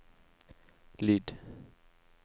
lyd